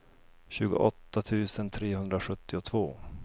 tjugoåtta tusen trehundrasjuttiotvå